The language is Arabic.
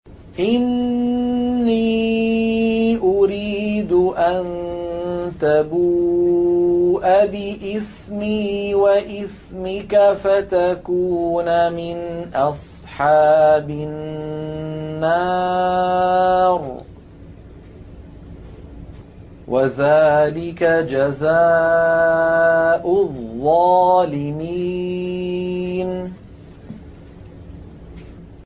إِنِّي أُرِيدُ أَن تَبُوءَ بِإِثْمِي وَإِثْمِكَ فَتَكُونَ مِنْ أَصْحَابِ النَّارِ ۚ وَذَٰلِكَ جَزَاءُ الظَّالِمِينَ